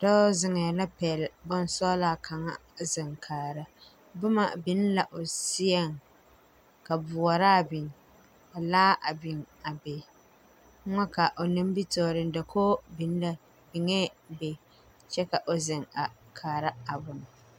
Dɔɔ zeŋɛɛ pɛgle bonsɔglaa kaŋa a zeŋ ne kaara bomma biŋ la o seɛŋ ka boɔraa biŋ ka laa a biŋ a be foo kaa o nimitoore dakoge biŋee be kyɛ ka o zeŋ a kaara a bon.